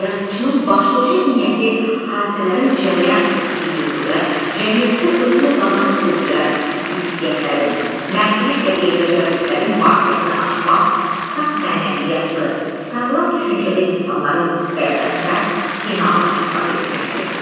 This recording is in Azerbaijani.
Yazıçının başlıca niyyəti hadisələrin cərəyan etdiyi dövrdə cəmiyyətdə özünü qabarıq göstərən ziddiyyətlərin, mənfilik və eybəcərliklərin mahiyyətini açmaq, saf mənəviyyatlı, sağlam düşüncəli insanların qələbəsinə inamı ifadə etməkdir.